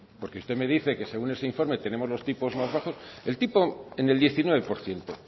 porque usted me dice que según ese informe tenemos los tipos más bajos